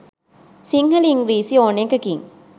සිංහල ඉංග්‍රිසි ඕන එකකින්